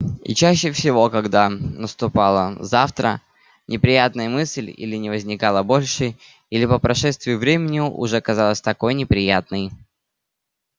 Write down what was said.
и чаще всего когда наступало завтра неприятная мысль или не возникала больше или по прошествии времени уже не казалась такой неприятной